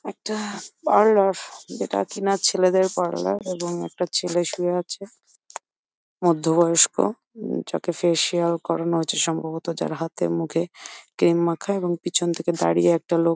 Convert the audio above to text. একটি পার্লা-র যেটা কিনা ছেলেদের পার্লার এবং একটা ছেলে শুয়ে আছে মধ্যবয়স্ক যাকে ফেসিয়াল করানো হচ্ছে সম্ভবত যার হাতে মুখে ক্রিম মাখা এবং পেছন থেকে দাঁড়িয়ে একটা লোক--